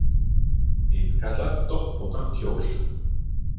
Innkallar doppóttan kjól